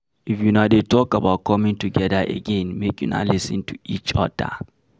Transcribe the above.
If una dey talk about coming together again, make una lis ten to each oda